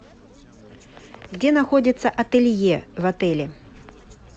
где находится ателье в отеле